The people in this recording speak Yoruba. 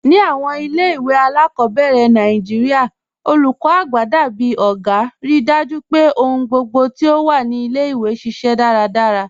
Ni awọn ilẹ̀-iwe aláàkọ́bẹ̀rẹ̀ Nàìjíríà, olúkọ́ àgbà dábìí ọ̀gá, ríì dájú pé ọ̀hùn gbogbo ti o wà ni ilẹ̀-iwe ṣiṣẹ daradara.